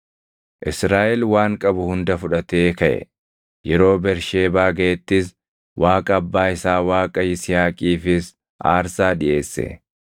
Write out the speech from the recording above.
Israaʼel waan qabu hunda fudhatee kaʼe; yeroo Bersheebaa gaʼettis Waaqa abbaa isaa Waaqa Yisihaaqiifis aarsaa dhiʼeesse.